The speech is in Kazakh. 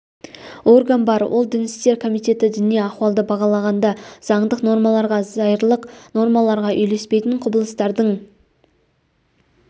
орган бар ол дін істер комитеті діни ахуалды бағалағанда заңдық нормаларға зайырлық нормаларға үйлеспейтін құбылыстардың